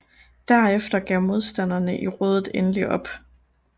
Derefter gav modstanderne i rådet endelig op